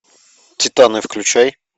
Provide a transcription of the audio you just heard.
титаны включай